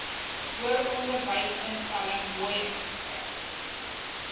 hoëronderwysinstelling hoi ingeskryf